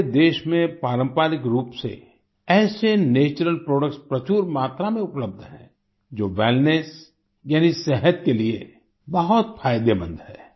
हमारे देश में पारंपरिक रूप से ऐसे नैचुरल प्रोडक्ट्स प्रचुर मात्रा में उपलब्ध हैं जो वेलनेस यानि सेहत के लिए बहुत फायदेमंद है